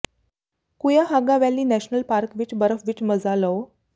Cuyahoga valley national park ਵਿਚ ਬਰਫ ਵਿਚ ਮਜ਼ਾ ਲਓ